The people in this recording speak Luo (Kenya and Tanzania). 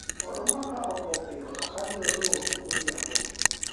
oduma ka otwo piyo to abiro dhi uso godhiambo